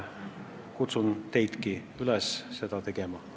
Kutsun teidki üles seda tegema.